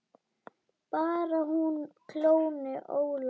Bara hún klóni Ólaf ekki.